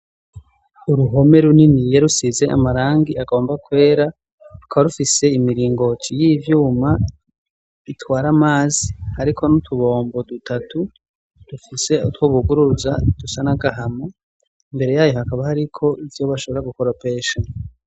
Uruhome runiniya rusize amarangi agomba kwera, rukaba rufise imiringoti y'ivyuma itwara amazi hariko n'utubombo dutatu dufise utwo buguruza dusa n'agahama, imbere yayo hakaba hariko ivyo bashobora gukoropesha.